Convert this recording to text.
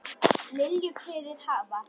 Lilju kveðið hafa.